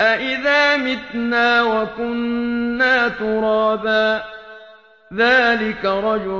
أَإِذَا مِتْنَا وَكُنَّا تُرَابًا ۖ ذَٰلِكَ رَجْعٌ